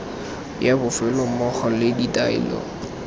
ya bofelo mmogo le ditaelo